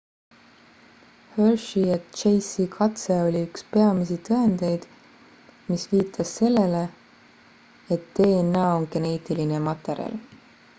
hershey ja chase'i katse oli üks peamisi tõendeid mis viitas sellele et dna on geneetiline materjal